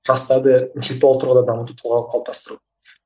жастарды интелектуалды тұрғыда дамыту тұлға қылып қалыптастыру